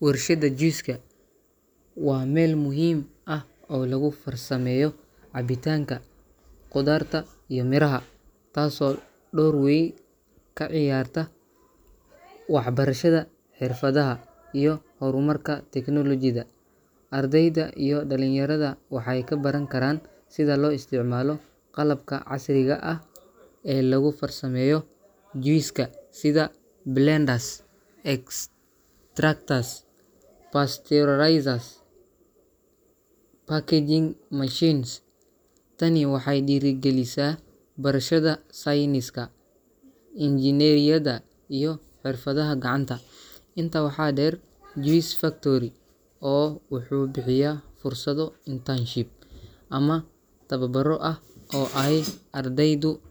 Warshadda juice-ka waa meel muhiim ah oo lagu farsameeyo cabitaanka khudaarta iyo miraha, taasoo door wey ka ciyaarta waxbarashada xirfadaha iyo horumarka technology-da. Ardayda iyo dhalinyarada waxay ka baran karaan sida loo isticmaalo qalabka casriga ah ee lagu farsameeyo juice-ka, sida blenders, extractors, pasteurizers, iyo packaging machines. Tani waxay dhiirigelisaa barashada sayniska, injineeriyadda, iyo xirfadaha gacanta. Intaa waxaa dheer, juice factory-oo wuxuu bixiya fursado internship ama tababaro ah oo ay ardaydu